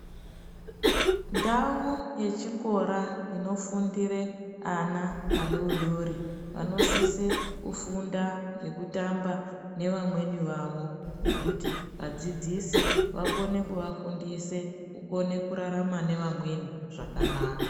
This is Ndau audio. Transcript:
Ndau ye chikora ino fundire ana adodori vano sisire ku funda nge kutamba ne vamweni vavo nekuti vadzidzisi vakone kuvafundise kukone kurarama ne amwei zvakanaka.